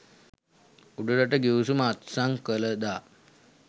උඩරට ගිවිසුම අත්සන් කළ දා